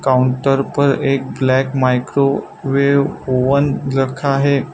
Counter पर एक black microwave oven रखा है।